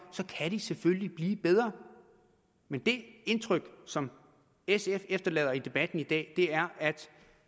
kan de selvfølgelig blive bedre men det indtryk som sf efterlader i debatten i dag er at